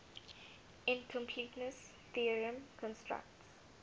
incompleteness theorem constructs